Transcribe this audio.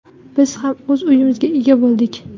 Biz ham o‘z uyimizga ega bo‘ldik.